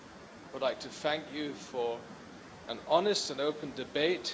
I would like to thank you for an honest and open debate.